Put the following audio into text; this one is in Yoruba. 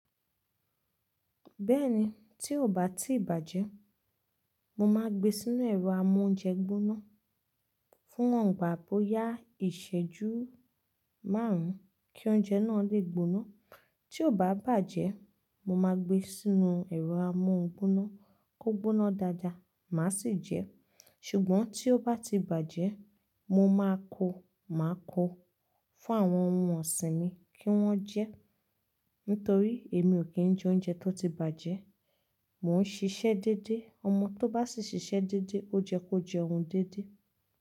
Bẹ́ẹ̀ni, tí ò bá ti bàjẹ́, mo máa gbe sínú ẹ̀rọ́ amóúnjẹ gbóná fún wọ̀ǹgbà bóyá ìṣẹ́jú márùn-ún kí oúnjẹ náà lè gbóná. Tí ò bá bàjẹ́, mo máa gbé e sínú ẹ̀rọ́ amóún gbóná kó gbóná dáadáa, màá sì jẹ ẹ́. Ṣùgbọ́n tí ó bá ti bàjẹ́, mo máa ko, màá ko fún àwọn ohun ọ̀sìn mi kí wọ́n jẹ ẹ́. Nítorí èmi ò kí ń jẹ oúnjẹ tó ti bàjẹ́. Mò ń ṣiṣẹ́ dédé. Ọmọ tó bá sì ṣiṣẹ́ dédé, ó jẹ kó jẹ ohun dédé.